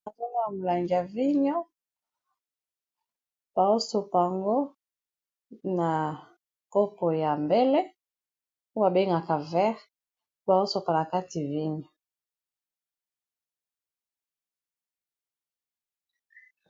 Nazomona molangi ya vigno, bazosopa yango na kopo ya mbele, oyo babengaka verre, bazosopa na kati vigno.